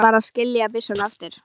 Varð að skilja byssuna eftir.